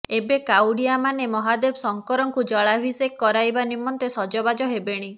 ଏବେ କାଉଡିଆ ମାନେ ମହାଦେବ ଶଙ୍କରଙ୍କୁ ଜଳାଭିଷେକ କରାଇବା ନିମନ୍ତେ ସଜବାଜ ହେବେଣି